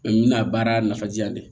Mɛ n bɛna baara nafa jiyan de